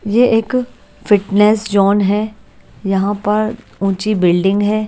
ये एक fitness zone है यहाँ पर ऊंची बिल्डिंग है।